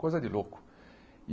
Coisa de louco.